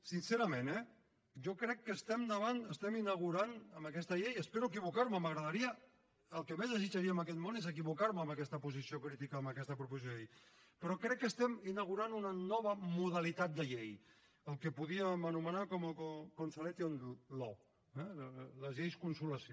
sincerament eh jo crec que estem inaugurant amb aquesta llei i espero equivocar me el que més desitjaria en aquest món és equivocar me en aquesta posició crítica en aquesta proposició de llei una nova modalitat de llei el que podríem anomenar consolation law eh les lleis consolació